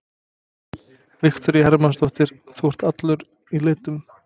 Viktoría Hermannsdóttir: Þú ert allur í litum?